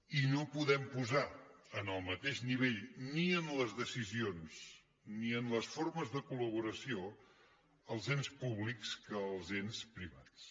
i no podem posar en el mateix nivell ni en les decisions ni en les formes de colels ens públics que els ens privats